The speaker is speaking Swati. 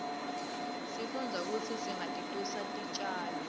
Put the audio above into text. sifundza kutsi singatisusi titjalo